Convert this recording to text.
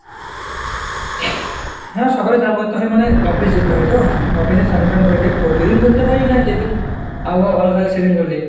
হ্যাঁ সকালে চান করতে হয় মানে office যেতে হয় তো? office এ স্নান টান করে যায়, প্রতিদিন করতে পারি না যেদিন আবহাওয়া ভালো থাকে সেদিন করলি।